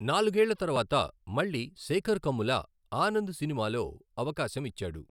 నాలుగేళ్ళ తరువాత మళ్ళీ శేేఖర్ కమ్ముల ఆనంద్ సినిమాలో అవకాశం ఇచ్చాడు.